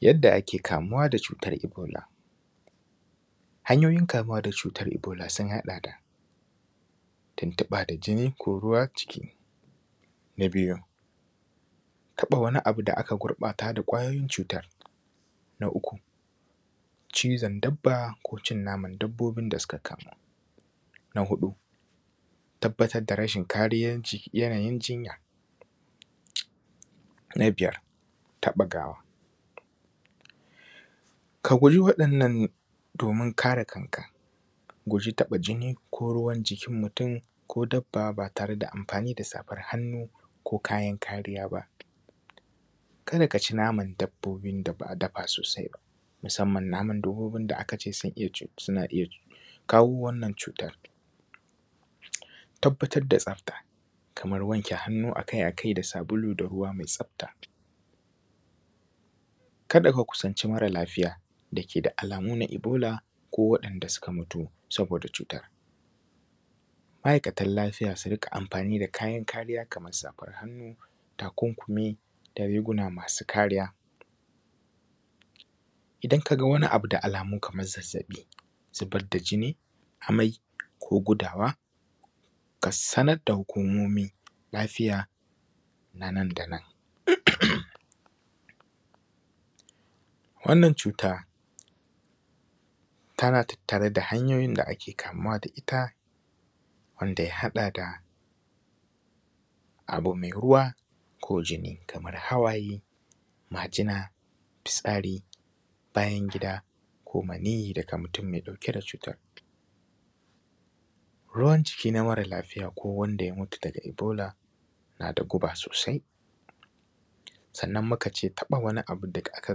Yadda ake kamuwa da cutar ebola. Hanyoyin kamuwa da cutar ebola sun haɗa da tuntuɓa da jini ko ruwan jiki. Na biyu taɓa wani abu da aka gurɓata da kwayoyin cutan. Na uku cizon dabba ko cinnamon dabbobin da suka kasa,. Na huɗu tabbatar da rashin kariyan jinya. Na biyar taɓa gawa, kaguji waɗannan domin kare kanka kaguji taɓa jini ko ruwan jikin mutun ko dabba ba tare da amfani da safar hannu ko kayan kariya ba. kada kaci naman dabbobin da ba’a dafa sosai ba, musamman naman dabbobin da akace suna iyya kawo wannan cutan. Tabbatar da tsafta Kaman wanke hannu akai akai da ruwa mai tsafta, kada ka kusanci mara lafiya dakeda alamu na ebola ko waɗan da suka mutu sabo da cutan. Ma’aikatan lafiya su rika amfani da kariya Kaman safar hannu, takunkumi da riguwa masu kariya. Idan kaga abu da alamu Kaman zazzaɓi ko zubar da jini amai ko gudawa ka sanar da hukumomin lafiya nanda nan. Wannan cuta tana tattare da hanyoyin da hanyoyin ada ake kamuwa da itta wanda ya haɗa da abu mai ruwa ko jini kamar hawaye, majina, fitsari, bayan gida ko maniyyi daga mutun mai ɗauke da cutan. Ruwab jiki na mara lafiya ko wanda ya mutu daga ebola da guba sosai. Sannan mukace taɓa wani abu da aka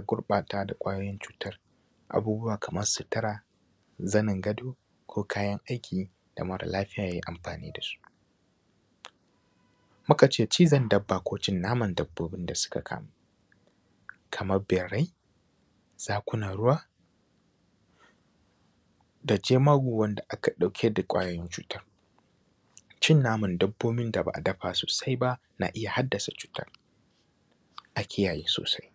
gueɓata da kwayoyin cutan abubuwa Kaman sitira, zanin gado ko kayan aiki da mara lafiya yai amfani dasu, mukace cizon babba ko cinnamon dabbobin da suka kamu, Kaman birrai, zukunan ruwa da jemagu wanda aka ɗauke da kwayoyin cutan, cinnamon dabbobin da ba’a dafa sosai ban a iyya haddasa cutan a kiyaye sosai.